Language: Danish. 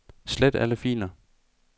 Slet alle filer.